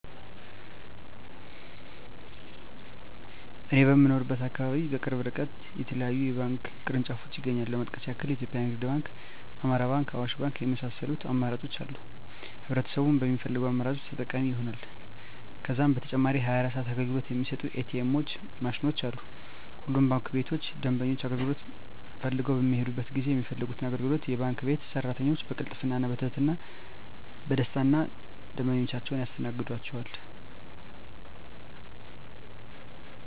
እኔ በምኖርበት አካባቢ በቅርብ እርቀት የተለያዩ የባንክ ቅርንጫፎች ይገኛሉ ለመጥቀስ ያክል ኢትዮጵያ ንግድ ባንክ፣ አማራ ባንክ፣ አዋሽ ባንክ የመሳሰሉት አማራጮች አሉ ህብረተሰቡም በሚፈልገው አማራጮች ተጠቃሚ ይሆናሉ። ከዛም በተጨማሪ 24 ሰዓት አገልግሎት የሚሰጡ ኢ.ቲ. ኤምዎች ማሽኖችም አሉ። ሁሉም ባንክ ቤቶች ደንበኞች አገልግሎት ፈልገው በሚሔዱበት ጊዜ የሚፈልጉትን አገልግሎት የባንክ ቤት ሰራተኞች በቅልጥፍና፣ በትህትና እና በደስታና ደንበኞቻቸውን ያስተናግዷቸዋል! ዠ።